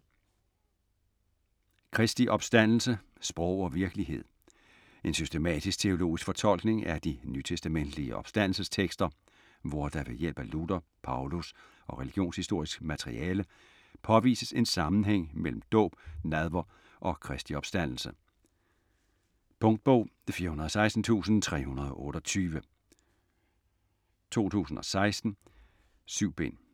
Kristi opstandelse: sprog og virkelighed En systematisk-teologisk fortolkning af de nytestamentelige opstandelsestekster hvor der ved hjælp af Luther, Paulus og religionshistorisk materiale påvises en sammenhæng mellem dåb, nadver og Kristi opstandelse. Punktbog 416328 2016. 7 bind.